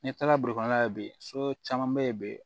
N'i taara la bi so caman bɛ yen bi